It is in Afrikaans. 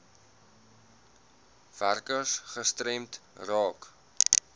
werkers gestremd raak